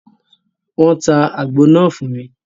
Wọ́n tá àgbo náà fún mi